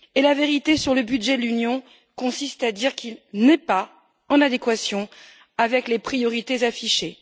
La vérité sur le budget de l'Union consiste à dire qu'il n'est pas en adéquation avec les priorités affichées.